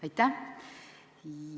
Aitäh!